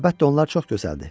Əlbəttə, onlar çox gözəldir.